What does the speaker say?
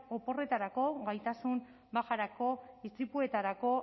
oporretarako gaitasun bajarako istripuetarako